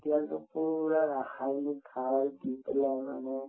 এতিয়াতো পূৰা ৰাসায়নিক সাৰ দি পেলাই মানে